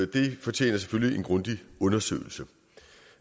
det fortjener selvfølgelig en grundig undersøgelse